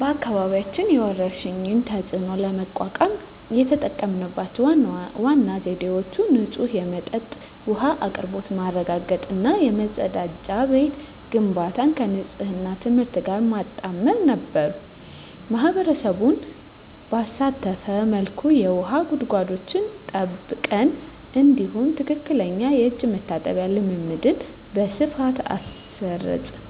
በአካባቢያችን የወረርሽኝን ተፅዕኖ ለመቋቋም የተጠቀምንባቸው ዋና ዘዴዎች ንጹህ የመጠጥ ውሃ አቅርቦት ማረጋገጥ እና የመጸዳጃ ቤት ግንባታን ከንፅህና ትምህርት ጋር ማጣመር ነበሩ። ማኅበረሰቡን ባሳተፈ መልኩ የውሃ ጉድጓዶችን ጠብቀን፣ እንዲሁም ትክክለኛ የእጅ መታጠብ ልምድን በስፋት አስረፅን።